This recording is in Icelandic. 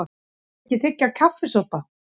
Viltu ekki þiggja kaffisopa?